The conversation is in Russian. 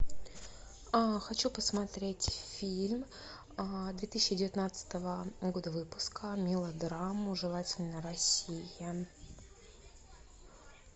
хочу посмотреть фильм две тысячи девятнадцатого года выпуска мелодраму желательно россия